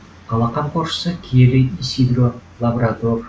қала қамқоршысы киелі исидро лабрадор